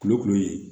Kuloku ye